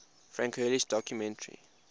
frank hurley's documentary